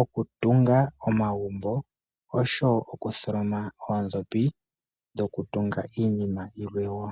oku tunga omagumbo, osho wo okuthomloma oondhopi dhoku tunga iinima ilwe woo.